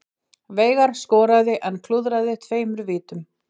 Veigar skoraði en klúðraði tveimur vítum